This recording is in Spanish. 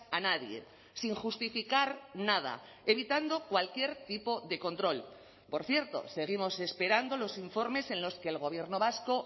a nadie sin justificar nada evitando cualquier tipo de control por cierto seguimos esperando los informes en los que el gobierno vasco